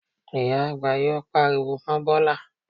Ìyá àgbà yóò pariwo mọ́ Bọ́lá